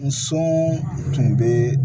N so tun bɛ